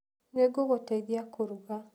Nĩ ngũgũteithia kũruga.